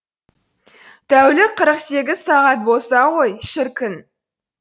тәулік қырық сегіз сағат болса ғой шіркін